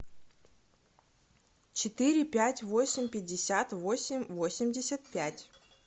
четыре пять восемь пятьдесят восемь восемьдесят пять